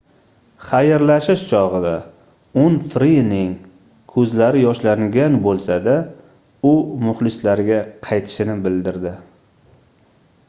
xayrlashish chogʻida unfrining koʻzlari yoshlangan boʻlsa-da u muxlislariga qaytishini bildirdi